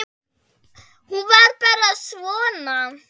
Hún var bara svona